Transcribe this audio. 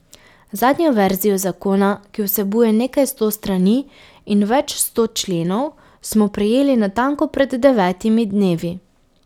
Zadnjo verzijo zakona, ki vsebuje nekaj sto strani in več sto členov smo prejeli natanko pred devetimi dnevi.